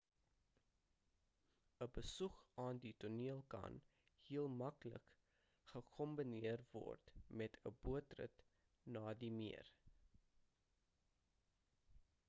'n besoek aan die toneel kan heel maklik gekombineer word met 'n bootrit na die meer